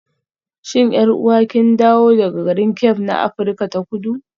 Shin 'yar'uwa kin dawo daga garin Cape na Afirka ta Kudu?